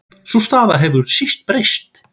Sú staða hefur síst breyst.